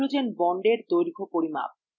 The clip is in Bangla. hydrogen bondsএর দৈর্ঘ্য পরিমাপ